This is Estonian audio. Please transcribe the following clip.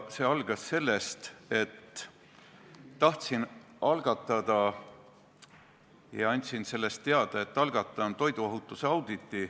See algas sellest, et tahtsin algatada toiduohutuse auditi ja andsin sellest teada.